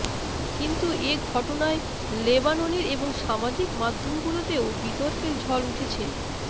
কিন্তু এ ঘটনায় লেবাননেন এবং সামাজিক মাধ্যমগুলোতেও বিতর্কের ঝড় উঠেছে